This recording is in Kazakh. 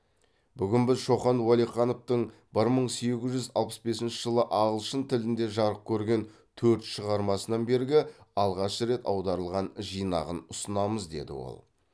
бүгін біз шоқан уәлихановтың бір мың сегіз жүз алпыс бесінші жылы ағылшын тілінде жарық көрген төрт шығармасынан бергі алғаш рет аударылған жинағын ұсынамыз деді ол